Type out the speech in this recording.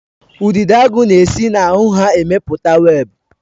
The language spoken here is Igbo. Udidoagu na-esi na ahụ ha emepụta webụ